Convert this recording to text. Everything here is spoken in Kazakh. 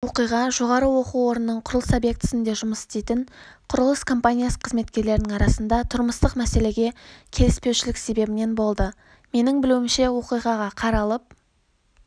оқиға жоғары оқу орнының құрылыс объектісінде жұмыс істейтін құрылыс компаниясы қызметкерлерінің арасында тұрмыстық мәселеге келіспеушілік себебінен болды менің білуімше оқиға қаралып